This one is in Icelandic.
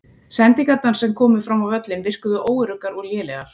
Sendingarnar sem komu fram á völlinn virkuðu óöruggar og lélegar.